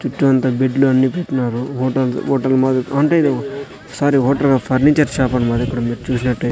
చుట్టూ అంతా బెడ్లు అన్ని పెట్టినారు హోటల్ హోటల్ మాదిరిగా అంటే ఇది సారీ హోటల్ కాదు ఫర్నిచర్ షాప్ అన్నమాట ఇక్కడ మీరు చూసినట్టయి.